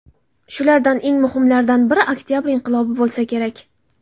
Shulardan eng muhimlaridan biri Oktabr inqilobi bo‘lsa kerak.